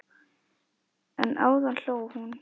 En áðan hló hún.